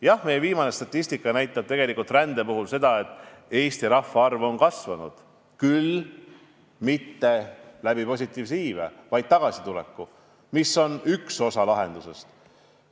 Jah, viimane statistika rände kohta näitab, et Eesti rahvaarv on kasvanud, küll mitte positiivse iibe, vaid tagasituleku tõttu, mis on üks osa lahendusest.